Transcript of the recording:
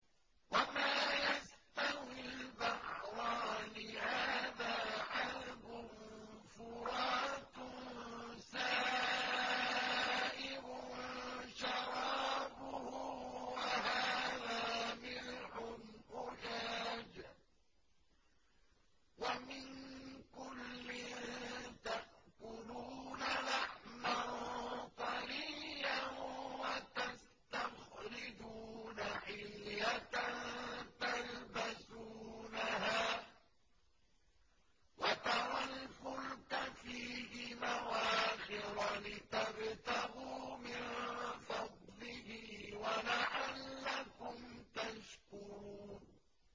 وَمَا يَسْتَوِي الْبَحْرَانِ هَٰذَا عَذْبٌ فُرَاتٌ سَائِغٌ شَرَابُهُ وَهَٰذَا مِلْحٌ أُجَاجٌ ۖ وَمِن كُلٍّ تَأْكُلُونَ لَحْمًا طَرِيًّا وَتَسْتَخْرِجُونَ حِلْيَةً تَلْبَسُونَهَا ۖ وَتَرَى الْفُلْكَ فِيهِ مَوَاخِرَ لِتَبْتَغُوا مِن فَضْلِهِ وَلَعَلَّكُمْ تَشْكُرُونَ